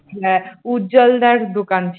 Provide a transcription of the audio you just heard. হ্যাঁ উজ্জ্বল দার দোকান ছিল ।